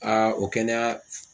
o kɛnɛya.